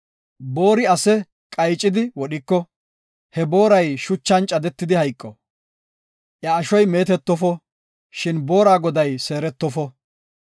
“Boori ase qaycidi wodhiko, he booray shuchan caddeti hayqo. Iya ashoy meetetofo, shin boora goday seeretofo.